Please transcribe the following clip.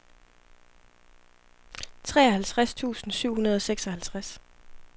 treoghalvtreds tusind syv hundrede og seksoghalvtreds